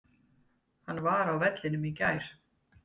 Hann var á vellinum í gær.